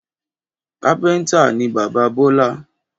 Kápéntà ni bàbá Bọ́lá